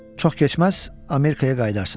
Çox keçməz, Amerikaya qayıdarsan.